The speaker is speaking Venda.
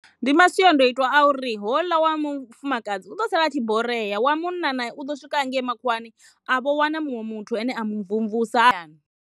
Ndi masiandoitwa a uri hoḽa wa vhafumakadzi u ḓo sala a tshi borea wa munna nae u ḓo swika hangei makhuwani a vho wana muṅwe muthu ane a mu mvumvusa.